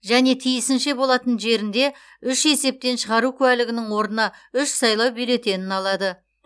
және тиісінше болатын жерінде үш есептен шығару куәлігінің орнына үш сайлау бюллетенін алады